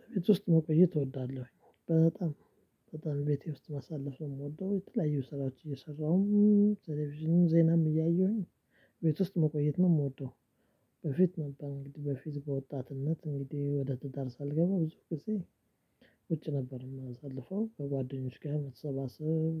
በቤት ውስጥ መቆየት እወዳለሁኝ በጣም። በጣም ቤቴ ውስጥ ማሳለፍ ነው የምወደው የተለያዩ ስራዎች እየሰራሁ። ቴሌቪዥንም ዜናም እያየሁኝ ቤት ውስጥ መቆየት ነው የምወደው። በፊት ነበር እንግዲህ በፊት በወጣትነት እንግዲህ ወደ ትዳር ሳልገባ ብዙ ጊዜ ውጭ ነበር የማሳልፈው ከጓደኞች ጋር መሰባሰብ።